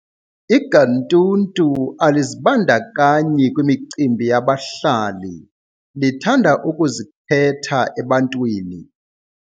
Iganntuntu alizibandakanyi kwimicimbi yabahlali lithanda ukuzikhetha ebantwini.